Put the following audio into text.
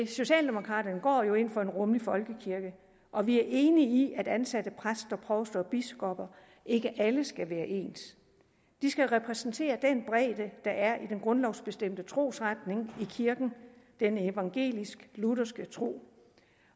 socialdemokraterne går jo ind for en rummelig folkekirke og vi er enige i at ansatte præster provster og biskopper ikke alle skal være ens de skal repræsentere den bredde der er i den grundlovsbestemte trosretning i kirken den evangelisk lutherske tro